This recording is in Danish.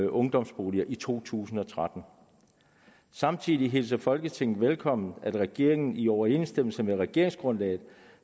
ungdomsboliger i to tusind og tretten samtidig hilser folketinget det velkommen at regeringen i overensstemmelse med regeringsgrundlaget